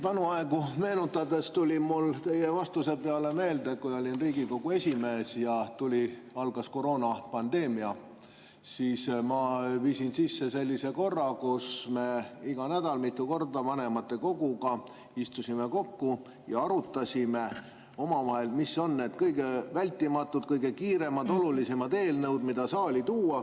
Vanu aegu meenutades tuli mulle teie vastuse peale meelde, et kui ma olin Riigikogu esimees ja algas koroonapandeemia, siis ma viisin sisse sellise korra, kus me iga nädal mitu korda vanematekoguga istusime kokku ja arutasime omavahel, mis on need kõige vältimatumad, kõige kiiremad, olulisemad eelnõud, mida saali tuua.